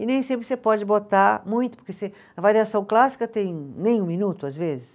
E nem sempre você pode botar muito, porque você, a variação clássica tem nem um minuto, às vezes.